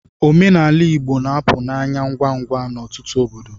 Omenala Igbo na-apụ n'anya ngwa ngwa n'ọtụtụ obodo.